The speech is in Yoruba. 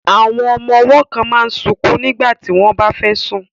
Àwọn ọmọ ọwọ́ kan máa sunkún nígbà tí wọ́n bá fẹ́ sùn